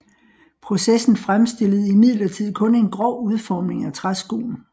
Processen fremstillede imidlertid kun en grov udformning af træskoen